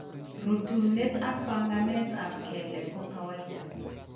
Rutuunet ak bang'anet ab keleek ko kawaida